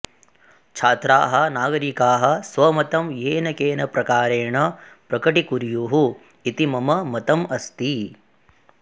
छात्राः नागरिकाः स्वमतं येनकेनप्रकारेण प्रकटीकुर्युः इति मम मतम् अस्ति